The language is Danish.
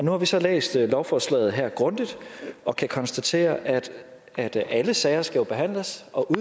har vi så læst lovforslaget her grundigt og kan konstatere at alle sager jo skal behandles og